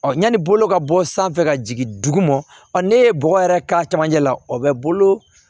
yanni bolo ka bɔ sanfɛ ka jigin dugu ma ɔ ne ye bɔgɔ yɛrɛ k'a camancɛ la o bɛ bolo